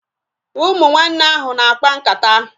Ụmụ nwanne ahu na-akpa nkata